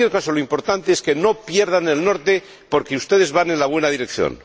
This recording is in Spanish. Pero, en cualquier caso, lo importante es que no pierdan el norte, porque ustedes van en la buena dirección.